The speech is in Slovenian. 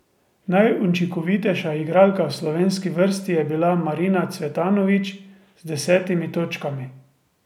Najučinkovitejša igralka v slovenski vrsti je bila Marina Cvetanović z desetimi točkami.